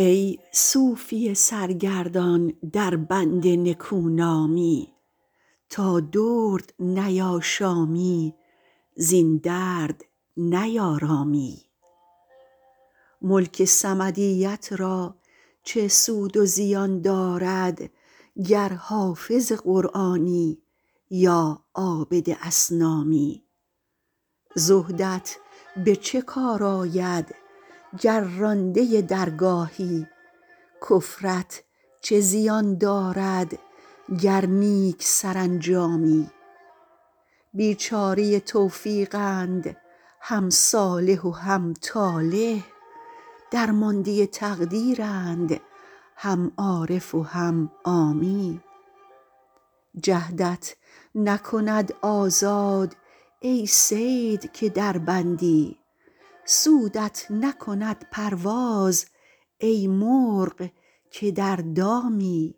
ای صوفی سرگردان در بند نکونامی تا درد نیاشامی زین درد نیارامی ملک صمدیت را چه سود و زیان دارد گر حافظ قرآنی یا عابد اصنامی زهدت به چه کار آید گر رانده درگاهی کفرت چه زیان دارد گر نیک سرانجامی بیچاره توفیقند هم صالح و هم طالح درمانده تقدیرند هم عارف و هم عامی جهدت نکند آزاد ای صید که در بندی سودت نکند پرواز ای مرغ که در دامی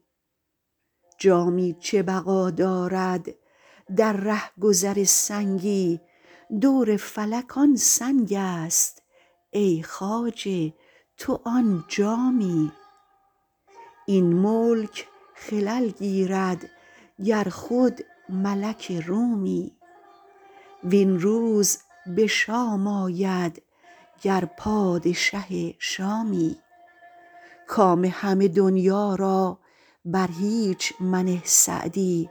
جامی چه بقا دارد در رهگذر سنگی دور فلک آن سنگ است ای خواجه تو آن جامی این ملک خلل گیرد گر خود ملک رومی وین روز به شام آید گر پادشه شامی کام همه دنیا را بر هیچ منه سعدی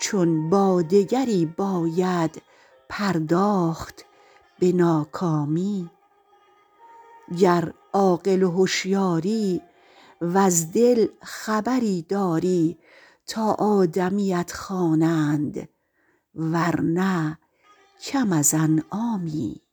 چون با دگری باید پرداخت به ناکامی گر عاقل و هشیاری وز دل خبری داری تا آدمیت خوانند ورنه کم از انعامی